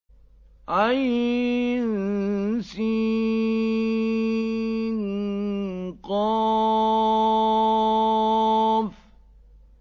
عسق